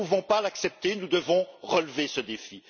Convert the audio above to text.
Nous ne pouvons pas l'accepter et devons relever ce défi.